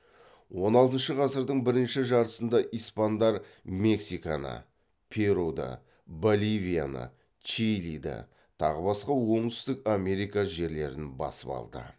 он алтыншы ғасырдың бірінші жартысында испандар мексиканы перуді боливияны чилиді тағы басқа оңтүстік америка жерлерін басып алды